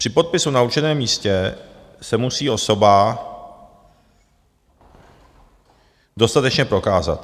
Při podpisu na určeném místě se musí osoba dostatečně prokázat.